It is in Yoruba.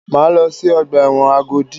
Máa lọ sí ọgbà ẹ̀wọ̀n Agodi.